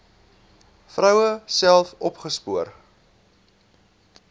vroue self opgespoor